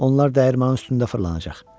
Onlar dəyirmanının üstündə fırlanacaq.